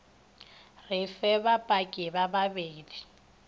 re fe bapaki ba bedi